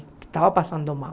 Estava passando mal.